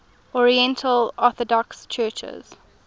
oriental orthodox churches